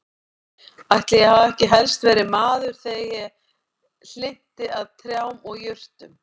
Ætli ég hafi ekki helst verið maður þegar ég hlynnti að trjám og jurtum.